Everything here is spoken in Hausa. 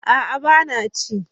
A'a ba na ci